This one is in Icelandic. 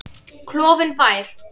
Klofinn bær.